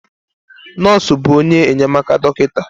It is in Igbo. Nọọsụ bụ onye enyemaka dọkịta.